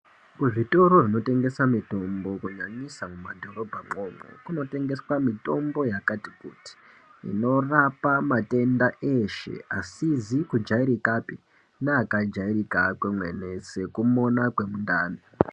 Kuzvitoro zvinotengesa mutombo kunyanyisa mumadhorobha ko ukoko kunotengeswa mitombo yakati kuti inorapa matenda eshe asizi kujairika pi neakajairika kwemene sekumona kwemundani.